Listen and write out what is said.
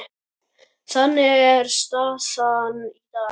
Þannig er staðan í dag.